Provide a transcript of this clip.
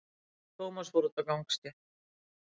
Tómas fór út á gangstétt.